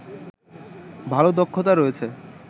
ভালো দক্ষতা রয়েছে